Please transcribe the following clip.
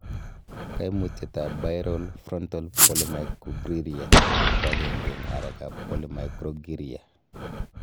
Koimutietab Bilateral frontal polymicrogyria koagenge en arekab polymicrogyria.